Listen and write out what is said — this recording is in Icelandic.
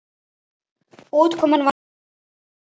Útkoman var Horft frá brúnni.